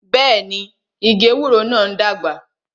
Bẹẹni, igi ewúro náà ń dàgbà